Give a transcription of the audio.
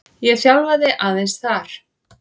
Ég þjálfaði aðeins þar.